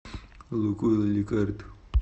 лукойл ликард